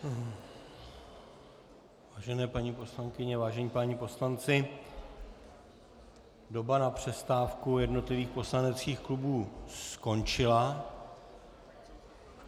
Vážené paní poslankyně, vážení páni poslanci, doba na přestávku jednotlivých poslaneckých klubů skončila.